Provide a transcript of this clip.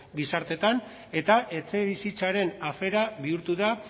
gizarteetan eta etxebizitzaren afera bihurtu da